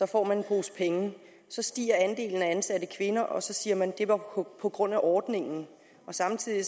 får man en pose penge så stiger andelen af ansatte kvinder og så siger man at det var på på grund af ordningen samtidig